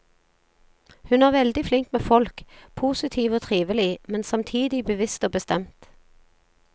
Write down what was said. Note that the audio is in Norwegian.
Hun er veldig flink med folk, positiv og trivelig, men samtidig bevisst og bestemt.